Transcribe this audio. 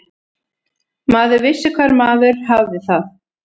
Maður vissi hvar maður hafði það.